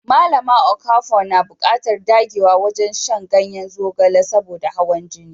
Malama Okafor na buƙatar dagewa wajen shan ganyen zogale saboda hawan jini.